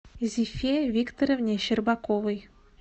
зифе викторовне щербаковой